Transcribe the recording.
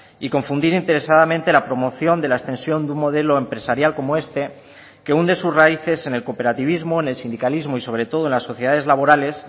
y confundir interesadamente la promoción de la extensión de un modelo empresarial como este que hunde sus raíces en el cooperativismo en el sindicalismo y sobre todo en las sociedades laborales